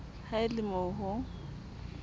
ha e le mo ho